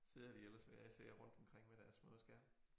Sidder de ellers hver især rundtomkring med deres små skærme